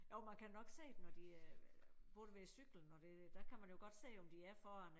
Jo man kan nok se det når de øh både ved cykling og det der kan man jo godt se om de er foran